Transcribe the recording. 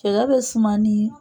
Cɛkɛ bɛ suma de